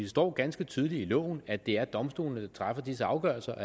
står ganske tydeligt i loven at det er domstolene der træffer disse afgørelser